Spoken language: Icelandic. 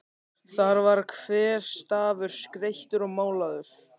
Þar var hver stafur skreyttur og málaður.